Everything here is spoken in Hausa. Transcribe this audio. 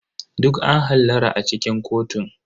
Duk an hallara a cikin kotun.